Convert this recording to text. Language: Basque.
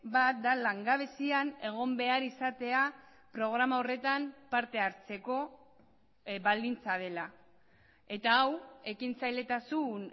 bat da langabezian egon behar izatea programa horretan partehartzeko baldintza dela eta hau ekintzailetasun